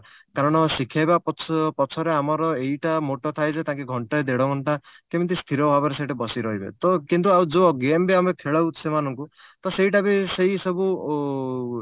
କାରଣ ଶିଖେଇବା ପ ପଛରେ ଆମର ଏଇଟା moto ଥାଏ ଯେ ତାକି ଘଣ୍ଟେ ଦେଢଘଣ୍ଟା କେମିତି ସ୍ତିର ଭାବରେ ସେଇଠି ବସି ରହିବେ ତ କିନ୍ତୁ ଆଉ ଯଉ game ବି ଆମେ ଖେଳାଉ ସେମାନଙ୍କୁ ତ ସେଇଟା ବି ସେଇସବୁ